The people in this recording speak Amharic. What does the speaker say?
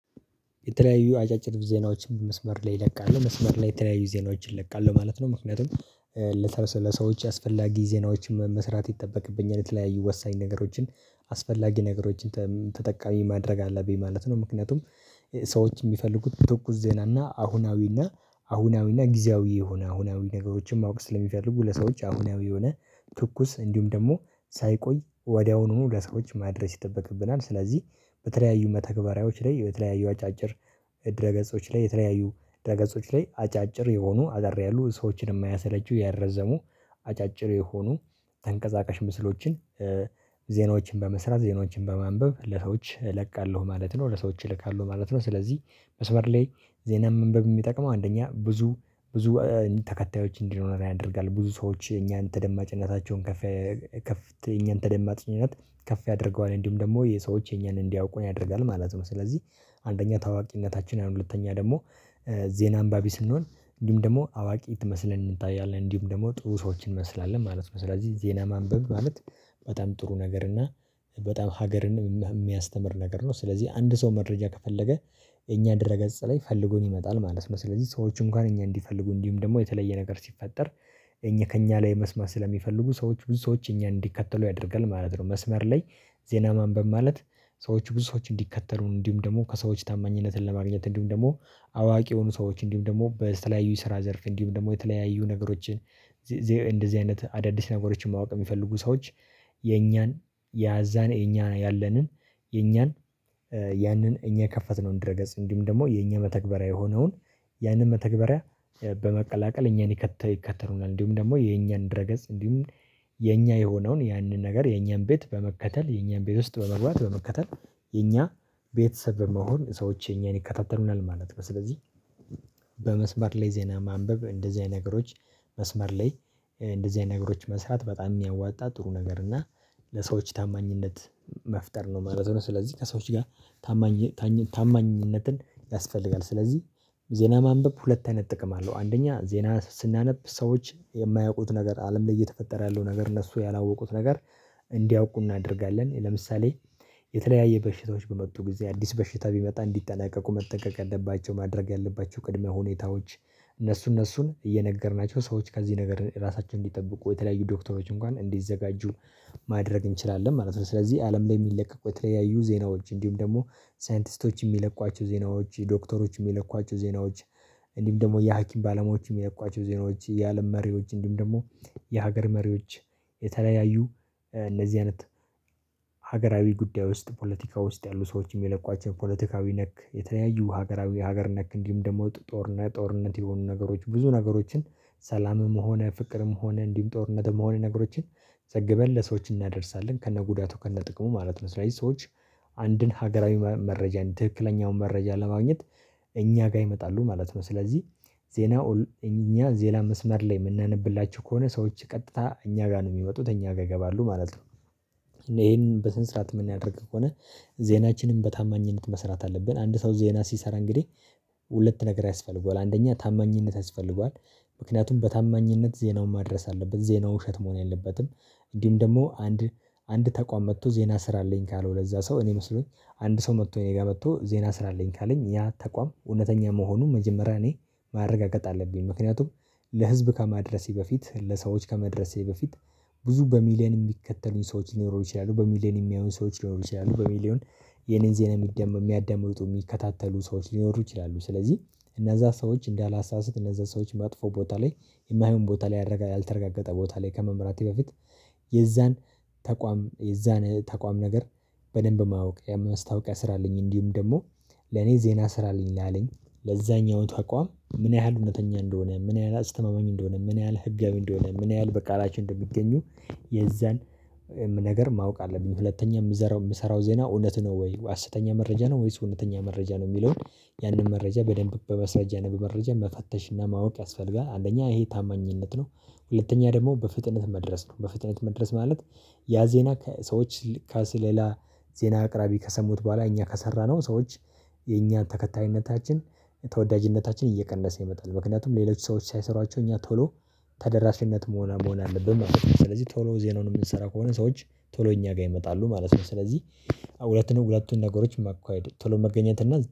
የተለያዩ አጫጭር ዜናዎችን መስመር ላይ እለቃለሁ መስመር ላይ የተለያዩ ዜናዎችን እለቃለሁ ማለት ነው። ምክንያቱም ለሰዎች አስፈላጊ ዜናዎችን መስራት ይጠበቅብኛል የተለያየ ወሳኝ ነገሮችን አስፈላጊ ነገሮችን ተጠቃሚ ማድረግ አለብኝ ማለት ነው። ምክንያቱም ሰዎች የሚፈልጉት በትኩስ ዜና እና አሁናዊ እና አሁናዊ እና ጊዜያዊ የሆነ አሁናዊ ነገሮችን ማወቅ ስለሚፈልጉ ለሰዎች አሁናዊ የሆነ ትኩስ እንዲሁም ደግሞ ሳይቆይ ወዲያውኑ ለሰዎች ማድረስ ይጠበቅብናል። ስለዚህ በተለያዩ መተግበሪያዎች ላይ የተለያዩ አጫጭር ድረ ገጾች ላይ የተለያዩ ድረ ገጾች ላይ አጫጭር የሆኑ አጠር ያሉ ሰዎችን የማያሰለቹ ያልረዘሙ አጫጭር የሆኑ ተንቀሳቀሽ ምስሎችን ዜናዎችን በመስራት ዜናዎችን በማንበብ ለሰዎች እለቃለሁ ማለት ነው። ለሰዎች እልካለሁ ማለት ነው ስለዚህ መስመር ላይ ዜና ማንበብ የሚጠቅመው አንደኛ ብዙ ብዙ ተከታዮች እንዲኖረን ያደርጋል ብዙ ሰዎች እኛን ተደማጭነታቸውን ከፍ ከፍ ት የኛን ተደማጭነት ከፍ ያደርገዋል እንዲሁም ደግሞ የሰዎች የኛን እንዲያውቁን ያደርጋል ማለት ነው። ስለዚህ አንደኛ ታዋቂነታችን ሁለተኛ ደግሞ ዜና አንባቢ ስንሆን እንዲሁም ደግሞ አዋቂ ት መስለን እንታያለን እንዲሁም ደግሞ ጥሩ ሰዎችን እንመስላለን ማለት ነው። ስለዚህ ዜና ማንበብ ማለት በጣም ጥሩ ነገር እና በጣም ሀገርንም የሚያስተምር ነገር ነው። ስለዚህ አንድ ሰው መረጃ ከፈለገ የኛ ድረ ገጽ ላይ ፈልጎን ይመጣል ማለት ነው። ስለዚህ ሰዎች እንኳን እኛ እንዲፈልጉ እንዲሁም ደግሞ የተለየ ነገር ሲፈጠር እኛ ከእኛ ላይ መስማት ስለሚፈልጉ ሰዎች ብዙ ሰዎች እኛ እንዲከተሉ ያደርጋል ማለት ነው። መስመር ላይ ዜና ማንበብ ማለት ሰዎች ብዙ ሰዎች እንዲከተሉ እንዲሁም ደግሞ ከሰዎች ታማኝነትን ለማግኘት እንዲሁም ደግሞ አዋቂ የሆኑ ሰዎች እንዲሁም ደግሞ በተለያዩ የስራ ዘርፍ እንዲሁም ደግሞ የተለያዩ ነገሮችን። እንደዚህ አይነት አዳዲስ ነገሮችን ማወቅ የሚፈልጉ ሰዎች የኛን ያዛን የኛ ያለንን የኛን ያንን እኛ የከፈትነው ድረገጽ እንዲሁም ደግሞ የእኛ መተግበሪያ የሆነውን ያንን መተግበሪያ በመቀላቀል እኛን ይከተ ይከተሉናል እንዲሁም ደግሞ የኛን ድረገጽ እንዲሁም የኛ የሆነውን ያንን ነገር የኛን ቤት በመከተል የኛን ቤት ውስጥ በመግባት በመከተል የኛ ቤተሰብ በመሆን ሰዎች የኛን ይከታተሉናል ማለት ነው። ስለዚህ በመስመር ላይ ዜና ማንበብ እንደዚህ አይነት ነገሮች መስመር ላይ እንደዚህ አይነት ነገሮች መስራት በጣም የሚያዋጣ ጥሩ ነገር እና ለሰዎች ታማኝነት መፍጠር ነው ማለት ነው። ስለዚህ ከሰዎች ጋር ታማኝ ታማኝነትን ያስፈልጋል ስለዚህ ዜና ማንበብ ሁለት አይነት ጥቅም አለው አንደኛ ዜና ስናነብ ሰዎች የማያውቁት ነገር አለም ላይ እየተፈጠረ ያለው ነገር እነሱ ያላወቁት ነገር እንዲያውቁ እናደርጋለን። ለምሳሌ የተለያየ በሽታዎች በመጡ ጊዜ አዲስ በሽታ ቢመጣ እንዲጠነቀቁ መጠንቀቅ ያለባቸው ማድረግ ያለባቸው ቅድመ ሁኔታዎች እነሱ እነሱን እየነገርናቸው ሰዎች ከዚህ ነገር ራሳቸውን እንዲጠብቁ የተለያዩ ዶክተሮች እንኳን እንዲዘጋጁ ማድረግ እንችላለን ማለት ነው። ስለዚህ አለም ላይ የሚለቀቁ የተለያዩ ዜናዎች እንዲሁም ደግሞ ሳይንቲስቶች የሚለቋቸው ዜናዎች ዶክተሮች የሚለቋቸው ዜናዎች እንዲሁም ደግሞ የሀኪም ባለሙያዎች የሚለቋቸው ዜናዎች የአለም መሪዎች እንዲሁም ደግሞ የሀገር መሪዎች የተለያዩ እነዚህ አይነት ሀገራዊ ጉዳይ ውስጥ ፖለቲካ ውስጥ ያሉ ሰዎች የሚለቋቸው ፖለቲካዊ ነክ የተለያዩ ሀገራዊ ሀገር ነክ እንዲሁም ደግሞ ጦርነት ጦርነት የሆኑ ነገሮች ብዙ ነገሮችን ሰላምም ሆነ ፍቅርም ሆነ እንዲሁም ጦርነትም ሆነ ነገሮችን ዘግበን ለሰዎች እናደርሳለን ከነጉዳቱ ከነጥቅሙ ማለት ነው። ስለዚህ ሰዎች አንድን ሀገራዊ መረጃን ትክክለኛውን መረጃ ለማግኘት እኛ ጋር ይመጣሉ ማለት ነው። ስለዚህ ዜናው እኛ ዜና መስመር ላይ የምናነብላችሁ ከሆነ ሰዎች ቀጥታ እኛ ጋር ነው የሚመጡት እኛ ጋር ይገባሉ ማለት ነው። ይሄን በስነ ስርዓት የምናደርግ ከሆነ ዜናችንን በታማኝነት መስራት አለብን አንድ ሰው ዜና ሲሰራ እንግዲህ ሁለት ነገር ያስፈልገዋል አንደኛ ታማኝነት ያስፈልገዋል ምክንያቱም በታማኝነት ዜናውን ማድረስ አለበት ዜናው ውሸት መሆን የለበትም። እንዲህም ደግሞ አንድ አንድ ተቋም መጥቶ ዜና ስራልኝ ካለው ለዛ ሰው እኔ መስሎኝ አንድ ሰው መጥቶ እኔ ጋር መጥቶ ዜና ሥራልኝ ካለኝ ያ ተቋም እውነተኛ መሆኑን መጀመሪያ እኔ ማረጋገጥ አለብኝ። ምክንያቱም ለህዝብ ከማድረሴ በፊት ለሰዎች ከማድረሴ በፊት ብዙ በሚሊየን የሚከተሉኝ ሰዎች ሊኖሩ ይችላሉ በሚሊየን የሚያዩን ሰዎች ሊኖሩ ይችላሉ በሚሊዮን የኔን ዜና የሚደመም የሚያዳምጡት የሚከታተሉ ሰዎች ሊኖሩ ይችላሉ። ስለዚህ እነዛ ሰዎች እንዳላሳስት እነዛ ሰዎች መጥፎ ቦታ ላይ የማይሆን ቦታ ላይ ያረጋ ያልተረጋገጠ ቦታ ላይ ከመምራቴ በፊት የዛን ተቋም የዛን ተቋም ነገር በደንብ ማወቅ የማስታወቂያ ሥራልኝ እንዲሁም ደግሞ ለኔ ዜና ስራልኝ አለኝ ለዛኛው ተቋም ምን ያህል እውነተኛ እንደሆነ ምን ያህል አስተማማኝ እንደሆነ ምን ያህል ህጋዊ እንደሆነ ምን ያህል በቃላቸው እንደሚገኙ የዛን ነገር ማወቅ አለብኝ። ሁለተኛ የምዘራው የምሰራው ዜና እውነት ነው ወይ ሃሰተኛ መረጃ ነው? ወይስ ሁለተኛ መረጃ ነው? የሚለውን ያንን መረጃ በደንብ በማስረጃ ነው በመረጃ መፈተሽና ማወቅ ያስፈልጋል። አንደኛ ይሄ ታማኝነት ነው። ሁለተኛ ደግሞ በፍጥነት መድረስ ነው። በፍጥነት መድረስ ማለት ያ ዜና ከሰዎች ልከስ ሌላ ዜና አቅራቢ ከሰሙት በኋላ እኛ ከሰራነው ሰዎች የእኛን ተከታይነታችን ተወዳጅነታችን እየቀነሰ ይመጣል ምክንያቱም ሌሎች ሰዎች ሳይሰሯቸው እኛ ቶሎ ተደራሽነት መሆን መሆን አለብን ማለት ነው። ስለዚህ ቶሎ ዜናውን የምንሰራ ከሆነ ሰዎች ቶሎ እኛ ጋር ይመጣሉ ማለት ነው። ስለዚህ ሁለቱን ሁለቱን ነገሮች መካሄድ ቶሎ መገኘት እና